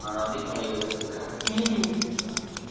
ମାଳ କି ଖଣି ଅଛି ସେଠି ହଁ ହଁ